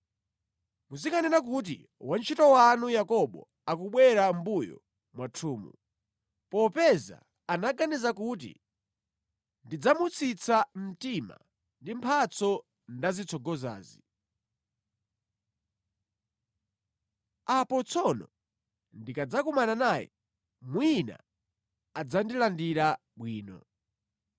Muzikanena kuti, ‘Wantchito wanu Yakobo akubwera mʼmbuyo mwathumu.’ ” Popeza anaganiza kuti, “Ndidzamutsitsa mtima ndi mphatso ndazitsogozazi. Apo tsono ndikadzakumana naye, mwina adzandilandira bwino.”